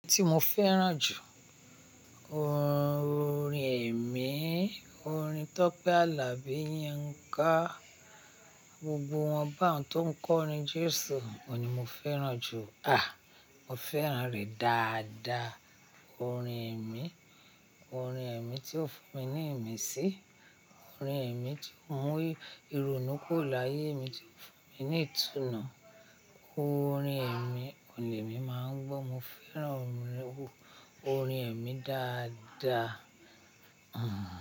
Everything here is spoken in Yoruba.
Orin tí mo fẹ́ràn jù, orin ẹ̀mí, orin Tọ́pẹ́ Alabi, Yinká. Gbogbo wọn báun tó ń kọrin Jésù, òun ni mo fẹ́ràn jù. À, mo fẹ́ràn rẹ̀ dáadáa. Orin ẹ̀mí, orin ẹ̀mí tí ó fún mi ní ìmísí, orin ẹ̀mí tí ó mú ìrònú kùro láyé mi tí ó fún mi ní ìtùnú. Orin ẹ̀mí, òun ní emi máa ń gbọ́, mo fẹ́ràn orin ẹ̀mí dáadáa. Hmm.